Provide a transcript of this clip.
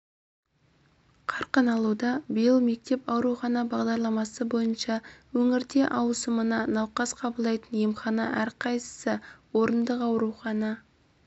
қарқын алуда биыл мектеп аурухана бағдарламасы бойынша өңірде ауысымына науқас қабылдайтын емхана әрқайсысы орындық аурухана